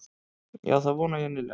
Já það vona ég innilega.